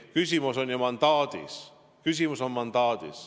Küsimus on ju mandaadis.